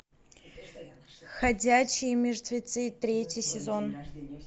ходячие мертвецы третий сезон